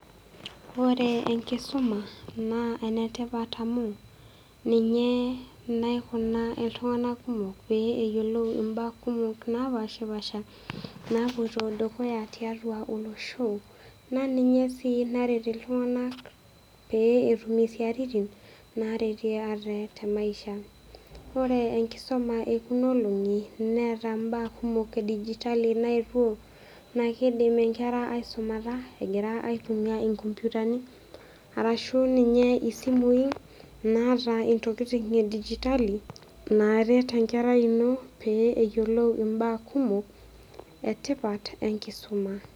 Ore enkisuma na enetipat oleng amu ninye naikuna ltunganak kumok peyiolou mbaa kumok napashipaasha napoito dukuya tiatua olosho naninye naret ltunganak petum isiatin ore enkisuma ekuna olongi neeta mbaa kumok edigitali amu nakidim nkera aisumata arashu ninye simui e digitali naret enkerai ino peyiolou mbaa kumok etipat enkisuma.